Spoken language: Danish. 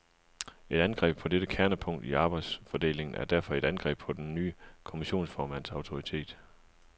Et angreb på dette kernepunkt i arbejdsfordelingen er derfor et angreb på den nye kommissionsformands autoritet.